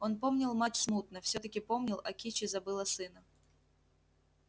он помнил мать смутно всё-таки помнил а кичи забыла сына